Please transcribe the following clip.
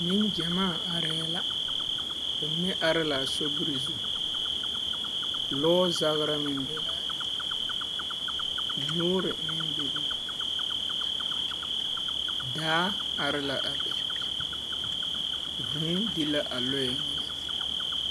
Neŋgyamaa arɛɛ la. Bamine are la a sobiri zu. Lɔɔzagera meŋ be laa be. yoore meŋ bebe la daa are la a be, vūū di la a lɔɛ mine.